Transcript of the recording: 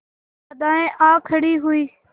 बाधाऍं आ खड़ी हुई